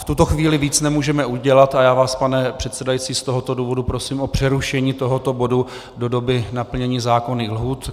V tuto chvíli víc nemůžeme udělat a já vás, pane předsedající, z tohoto důvodu prosím o přerušení tohoto bodu do doby naplnění zákonných lhůt.